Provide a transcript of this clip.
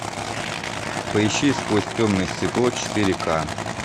поищи сквозь темное стекло четыре ка